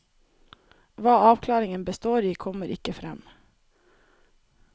Hva avklaringen består i, kommer ikke frem.